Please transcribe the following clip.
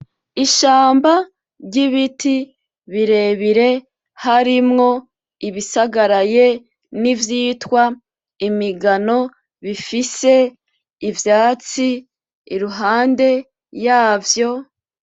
Ishamba ry'ibiti birebire harimwo ibisagaraye n'ivyitwa imigano, bifise ivyatsi iruhande yavyo.